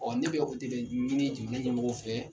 Ɔ ne bɛ o de be ɲini jamana ɲɛmɔgɔw fɛ